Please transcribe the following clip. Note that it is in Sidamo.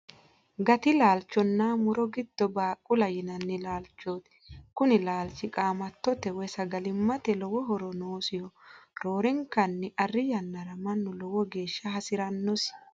Gati laalchonna mu'ro giddo baaqula yinanni laalchooti. Kuni laalchi qaamattote woy sagalimmate lowo horo noosiho roorenkanni arri yannara mannu lowo geeshsha hasirannosi.